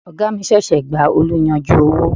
Oga mi ṣẹ̀ṣẹ̀ gba oluyanju owó.